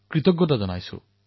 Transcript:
কৃতজ্ঞতা প্ৰকাশ কৰিছো